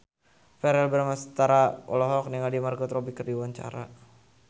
Verrell Bramastra olohok ningali Margot Robbie keur diwawancara